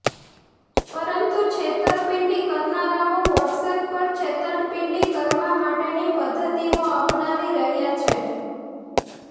પરંતુ છેતરપિંડી કરનારાઓ વોટ્સએપ પર છેતરપિંડી કરવા માટેની પદ્ધતિઓ અપનાવી રહ્યા છે